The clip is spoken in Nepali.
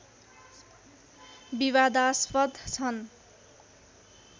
विवादास्पद छन्